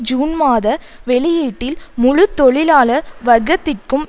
June மாத வெளியீட்டில் முழு தொழிலாளர் வர்க்கத்திற்கும்